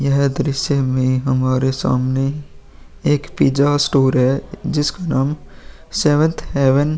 यह दृश्य मे हमारे सामने एक पिज्जा स्टोर है जिसका नाम सेवनथ हैवन --